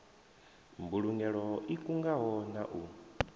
mbulugelo i kungaho na u